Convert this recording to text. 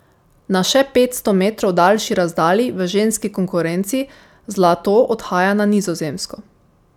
Na še petsto metrov daljši razdalji v ženski konkurenci zlato odhaja na Nizozemsko.